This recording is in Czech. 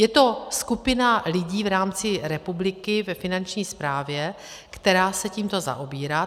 Je to skupina lidí v rámci republiky ve Finanční správě, která se tímto zaobírá.